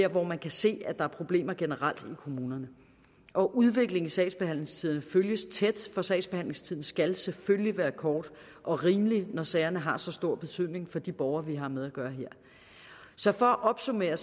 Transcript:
hvor man kan se at der er problemer generelt i kommunerne og udviklingen i sagsbehandlingstiderne følges tæt for sagsbehandlingstiden skal selvfølgelig være kort og rimelig når sagerne har så stor betydning for de borgere vi har med at gøre her så for at opsummere